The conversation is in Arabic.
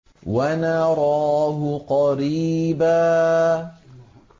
وَنَرَاهُ قَرِيبًا